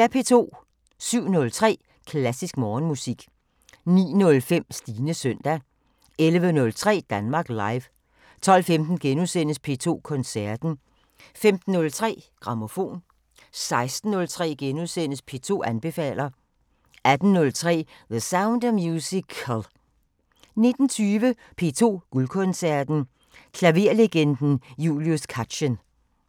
07:03: Klassisk Morgenmusik 09:05: Stines søndag 11:03: Danmark Live 12:15: P2 Koncerten * 15:03: Grammofon 16:03: P2 anbefaler * 18:03: The Sound of Musical 19:20: P2 Guldkoncerten: Klaverlegenden Julius Katchen